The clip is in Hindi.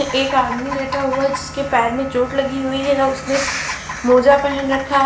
एक आदमी लेटा हुआ जिसके पैर में चोट लगी हुई है उसने स मोजा पहन रखा--